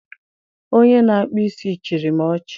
Onye na-akpụ isi chịrị m ọchị